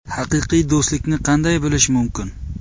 Haqiqiy do‘stlikni qanday bilish mumkin?.